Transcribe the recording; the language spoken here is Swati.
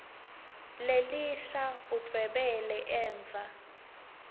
lelisha udvwebele emva